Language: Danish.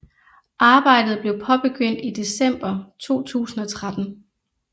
Arbejdet blev påbegyndt i december 2013